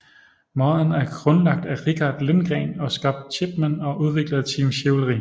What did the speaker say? Modden er grundlagt af Rikard Lindgren og Scott Chipman og udviklet af Team Chivalry